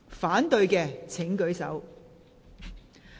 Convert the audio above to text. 反對的請舉手。